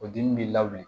O dimi b'i la bilen